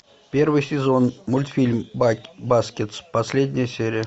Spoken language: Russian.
первый сезон мультфильм баскетс последняя серия